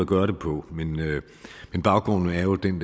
gøre det på men baggrunden er jo den